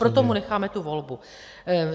Proto mu necháme tu volbu.